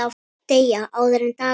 Deyja, áður en dagur rynni.